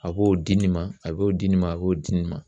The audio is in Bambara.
A b'o di nin ma, a b'o di nin ma, a b'o di nin ma.